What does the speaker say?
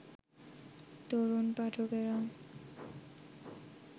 তরুণ পাঠকেরা